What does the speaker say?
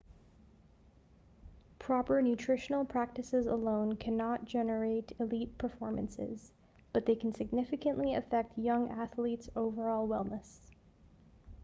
proper nutritional practices alone cannot generate elite performances but they can significantly affect young athletes' overall wellness